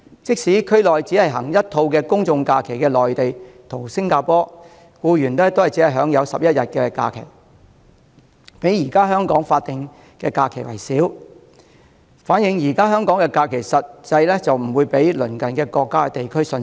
即使在區內只實行一套公眾假期的內地和新加坡，僱員亦只享有11天假期，較現時香港的法定假日為少，反映現時香港的假期實際不較鄰近國家或地區遜色。